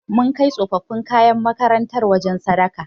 Mun kai tsofaffin kayan makarantar wajen sadaka.